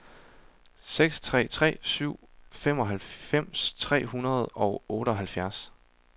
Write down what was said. seks tre tre syv femoghalvfems tre hundrede og otteoghalvfjerds